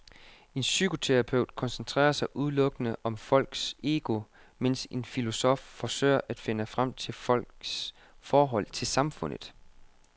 En psykoterapeut koncentrerer sig udelukkende om folks ego, mens en filosof forsøger at finde frem til folks forhold til samfundet.